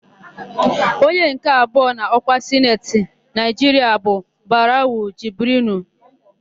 Onye nke abụọ n'ọkwa Sineti Naịjiria bụ Barawu Jibrinu.